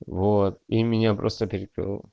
вот и меня просто перекрыло